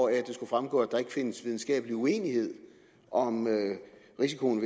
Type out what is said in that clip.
det skulle fremgå at der ikke findes videnskabelig uenighed om risikoen